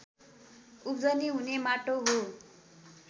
उब्जनी हुने माटो हो